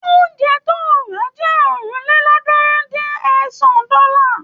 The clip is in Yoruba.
Oúnjẹ tó rà jẹ́ ọ̀rìnlélọ́ọ̀ọ́dúnrún-dín-ẹ̀sán dọ́là.